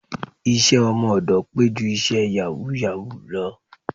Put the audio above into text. Iṣẹ́ ọmọ ọ̀dọ̀ pé ju iṣẹ́ yàwúù-yàwúù lọ